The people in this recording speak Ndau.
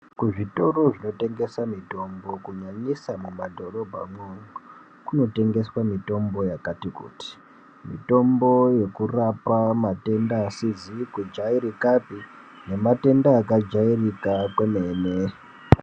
Kuzvitoro zvinotengese mitombo kunyanyisa mumadhorobhamwo, kunotengeswa mitombo yakati kuti mitombo yekurapa matenda asizikujairikapi nematenda akajairika kwemene.